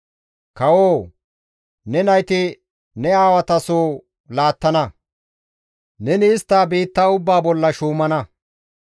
Kawoo! Ne nayti ne aawata soho laattana; neni istta biitta ubbaa bollan shuumana.